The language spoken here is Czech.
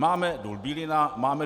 Máme Důl Bílina, Máme